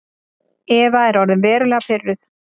Eva er orðin verulega pirruð.